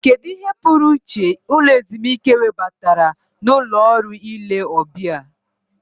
Kedu ihe pụrụ iche ụlọ ezumike webatara na ụlọ ọrụ ile ọbịa?